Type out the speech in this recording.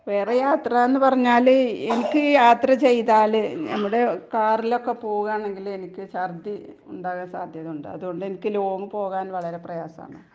വേറെ യാത്രാന്ന് പറഞ്ഞാല് എനിക്ക് യാത്ര ചെയ്താല് ഞമ്മടെ കാറിലൊക്കെ പോകുകാണെങ്കിലെനിക്ക് ശർദി ഉണ്ടാകാൻ സാധ്യതയുണ്ട്. അതുകൊണ്ടെനിക്ക് ലോങ്ങ് പോകാൻ വളരെ പ്രയാസാണ്.